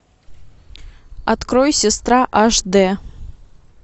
открой сестра аш дэ